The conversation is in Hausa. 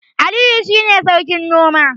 Aliyu shine sarkin noma